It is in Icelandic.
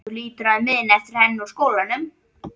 Þú hlýtur að muna eftir henni úr skólanum?